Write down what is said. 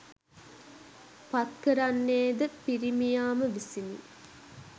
පත්කරන්නේ ද පිරිමියා ම විසිනි.